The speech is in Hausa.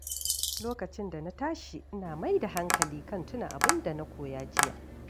Lokacin da na tashi, ina mai da hankali kan tuna abin da na koya jiya.